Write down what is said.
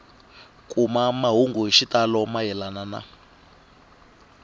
kuma mahungu hi xitalo mayelana